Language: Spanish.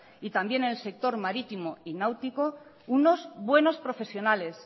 y también en el sector marítimo y náuticos unos buenos profesionales